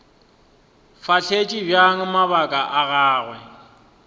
fahletše bjang mabaka a gagwe